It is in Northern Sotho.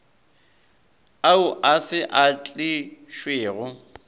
ao a se a tlišwego